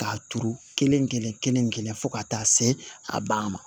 K'a turu kelen kelen kelen fo ka taa se a ban ma